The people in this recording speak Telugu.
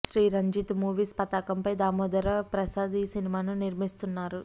శ్రీ రంజిత్ మూవీస్ పతాకంపై దామోదర ప్రసాద్ ఈ సినిమాను నిర్మిస్తున్నారు